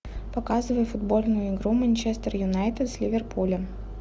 показывай футбольную игру манчестер юнайтед с ливерпулем